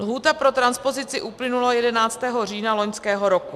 Lhůta pro transpozici uplynula 11. října loňského roku.